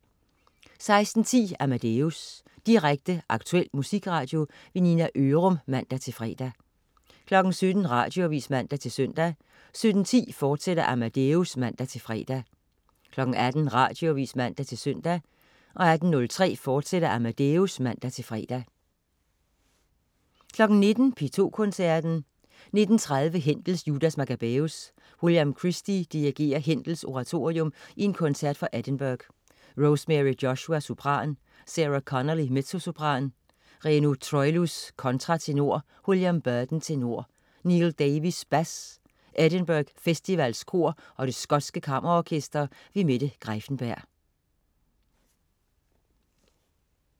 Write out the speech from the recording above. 16.10 Amadeus. Direkte, aktuel musikradio. Nina Ørum (man-fre) 17.00 Radioavis (man-søn) 17.10 Amadeus, fortsat (man-fre) 18.00 Radioavis (man-søn) 18.03 Amadeus, fortsat (man-fre) 19.00 P2 Koncerten. 19.30 Händel: Judas Maccabæus. William Christie dirigerer Händels oratorium i koncert fra Edinburgh. Rosemary Joshua, sopran. Sarah Connolly, mezzosopran. Reno Troilus, kontratenor. William Burden, tenor. Neal Davies, bas. Edinburgh Festivalens Kor og Det skotske Kammerorkester. Mette Greiffenberg